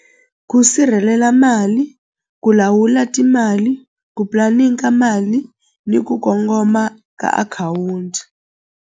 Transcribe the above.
Ku sirhelela mali ku lawula timali ku mali ni ku kongoma ka akhawunti.